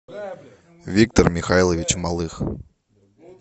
виктор михайлович малых